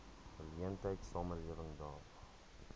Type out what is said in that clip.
geleentheid samelewing daag